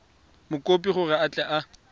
mokopi gore a tle a